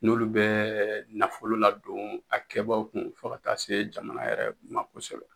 N'olu bɛ nafolo ladon a kɛbaaw kun fo ka taa se jamana yɛrɛ ma kosɛbɛ